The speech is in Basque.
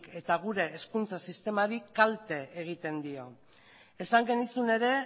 eta gure hezkuntza sistemari kalte egiten dio esan genizun ere